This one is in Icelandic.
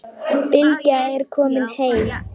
Bylgja er komin heim.